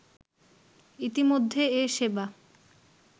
ইতিমধ্যে এ সেবা